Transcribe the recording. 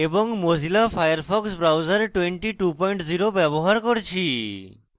mozilla Firefox browser 220 ব্যবহার করছি